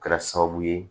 Kɛra sababu ye